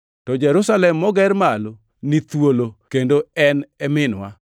To Jerusalem moger malo ni thuolo kendo en e minwa,